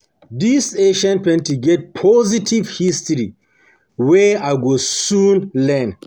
this ancient painting get positive history wey I go soon learn